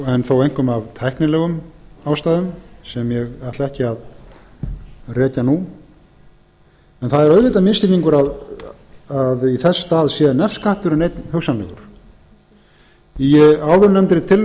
en þó einkum af tæknilegum ástæðum sem ég ætla ekki að rekja nú en það er auðvitað misskilningur að í þess stað sé nefskatturinn einn hugsanlegur í áðurnefndri